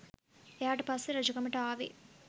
එයාට පස්සේ රජකමට ආවේ